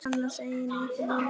Annars eigin yfir línuna.